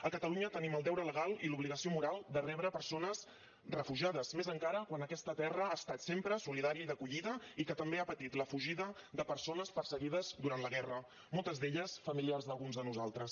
a catalunya tenim el deure legal i l’obligació moral de rebre persones refugiades més encara quan aquesta terra ha estat sempre solidària i d’acollida i que també ha patit la fugida de persones perseguides durant la guerra moltes d’elles familiars d’alguns de nosaltres